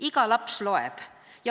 Iga laps loeb.